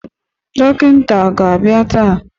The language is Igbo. Dọkịta aga-abịa taa?